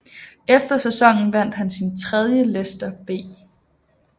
Efter sæsonen vandt han sin tredje Lester B